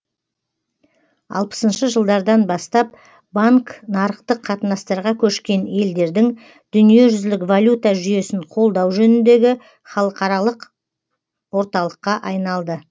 алпысыншы жылдардан бастап банк нарықтық қатынастарға көшкен елдердің дүниежүзілік валюта жүйесін қолдау жөніндегі халықаралық орталыққа айналды